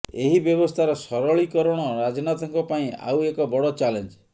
ଏହି ବ୍ୟବସ୍ଥାର ସରଳୀକରଣ ରାଜନାଥଙ୍କ ପାଇଁ ଆଉ ଏକ ବଡ ଚ୍ୟାଲେଞ୍ଜ